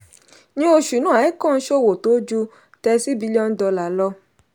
ní oṣù náà altcoin ṣòwò tó ju thirty billion dollar lọ.